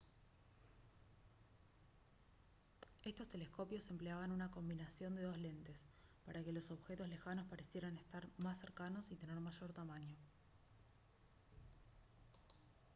estos telescopios empleaban una combinación de dos lentes para que los objetos lejanos parecieran estar más cercanos y tener mayor tamaño